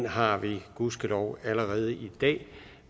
har vi gudskelov allerede i dag